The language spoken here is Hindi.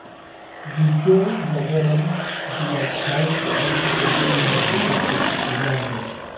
विजयनगरम ज़िला भारत के आंध्र प्रदेश राज्य का एक ज़िला है